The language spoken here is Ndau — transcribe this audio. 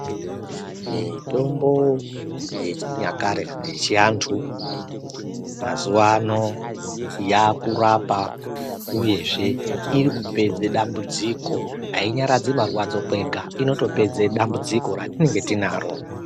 Mitombo yechinyakare yechaantu mazuvaano yaakurapa uyezve iri kupedza dambudziko ainyaradzi marwadzo kwega inotopedza ratinenge tinaro.